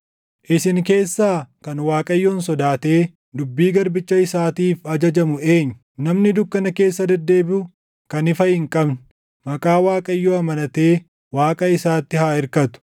Isin keessaa kan Waaqayyoon sodaatee dubbii garbicha isaatiif ajajamu eenyu? Namni dukkana keessa deddeebiʼu, kan ifa hin qabne, maqaa Waaqayyoo amanatee Waaqa isaatti haa irkatu.